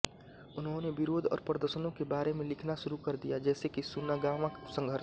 उन्होंने विरोध और प्रदर्शनों के बारे में लिखना शुरू कर दिया जैसे की सुनागावा संघर्ष